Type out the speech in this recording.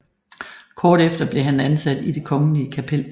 Året efter blev han ansat i Det Kongelige Kapel